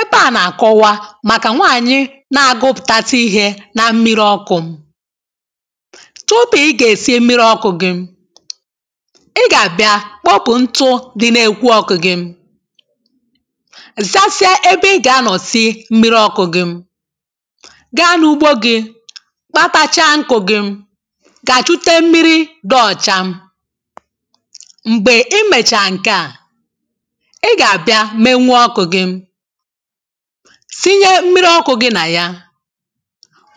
ebe à na-akọwa màkà nwaànyị na-agụpụ̀tata ihė na mmiri ọkụ̇ tupù ị gà-èsi mmiri ọkụ̇ gị ị gà-àbịa kpokù ntụ dị na-èkwu ọkụ̇ gị ziàsịa ebe ị gà-ànọsị mmiri ọkụ̇ gị gaa n’ugbo gị̇ kpatacha nkụ̇ gị̇ gà-àchụte mmiri dị ọ̀cha m̀gbè imèchàà nke à sinye mmiri ọkụ̇ gị nà ya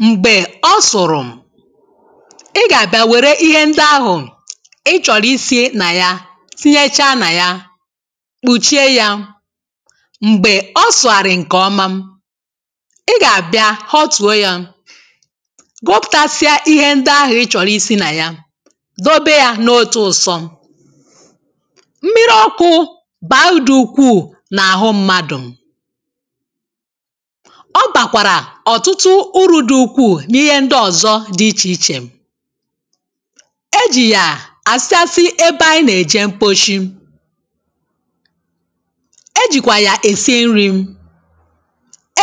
m̀gbè ọ sụ̀rụ̀ ị gà-àbịa wère ihe ndị ahụ̀ ị chọ̀rọ̀ isi̇ nà ya sinyechaa nà ya kpùchie yȧ m̀gbè ọ sụ̀ghàrị̀ ǹkèọma ị gà-àbịa—ho tùo yȧ gụpụ̀tasịa ihe ndị ahụ̀ ị chọ̀rọ̀ isi̇ nà ya dobe yȧ n’o tu ụ̇sọ mmiri ọkụ̇ bààudù ukwuù ọ kpàkwàrà ọ̀tụtụ uru̇ dị ukwuù n’ihe ndị ọ̀zọ dị ichè ichè e jì yà àsị asị ebe anyị nà-èje mkposhi e jìkwà yà èsịe nri̇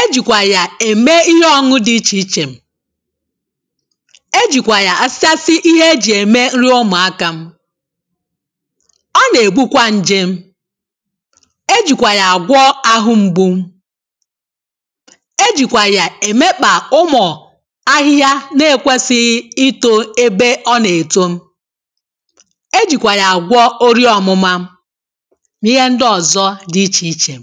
e jìkwà yà ème ihe ọṅụ dị ichè ichè e jìkwà yà àsị àsị ihe ejì ème nri ụmụ̀akȧ ọ nà-ègbukwa nje e jìkwà yà èmekpà ụmụ̀ ahịhịa na-èkwesighi itȯ ebe ọ nà-èto e jìkwà yà àgwọ o rie ọ̀mụma nà ihe ndị ọ̀zọ di ichèichè